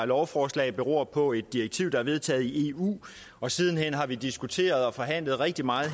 lovforslag beror på et direktiv der er vedtaget i eu og siden hen har vi diskuteret og forhandlet rigtig meget